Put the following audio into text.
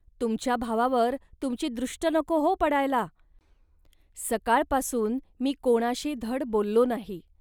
तुमच्या भावावर तुमची दृष्ट नको, हो, पडायला. सकाळपासून मी कोणीशी धड बोललो नाही